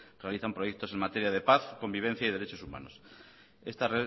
realizan proyectos en materia de paz convivencia y derechos humanos esta